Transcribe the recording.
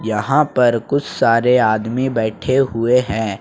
यहां पर कुछ सारे आदमी बैठे हुए हैं।